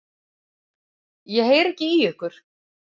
Ég heyri ekki í ykkur.